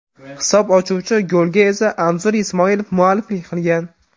Hisob ochuvchi golga esa Anzur Ismoilov mualliflik qilgan.